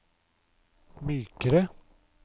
mykere